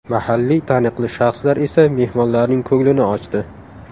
Mahalliy taniqli shaxslar esa mehmonlarning ko‘nglini ochdi.